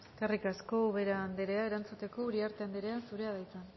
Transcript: eskerrik asko ubera andrea erantzuteko uriarte andrea zurea da hitza